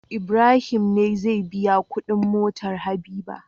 Ibrahim ne zai biya Ƙudin motar habiba